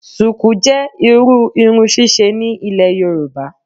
Sùkú jẹ́ irú irun ṣíṣe ní Ilẹ̀ Yorùbá